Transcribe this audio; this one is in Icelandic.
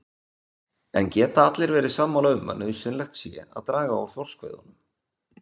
En geta allir verið sammála um að nauðsynlegt sé að draga úr þorskveiðunum?